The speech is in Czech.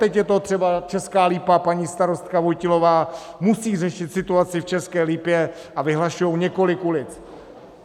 Teď je to třeba Česká Lípa, paní starostka Vojtilová musí řešit situaci v České Lípě, a vyhlašujou několik ulic.